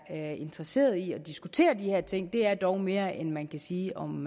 er interesseret i at diskutere de her ting det er dog mere end man kan sige om